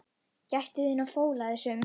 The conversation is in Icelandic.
Gættu þín á fóla þessum.